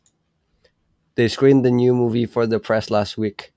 They screened the new movie for the press last week